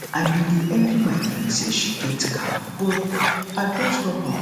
i bin dey envy my friend say she get car but i don stop am